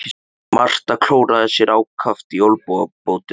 Marta klóraði sér ákaft í olnbogabótinni.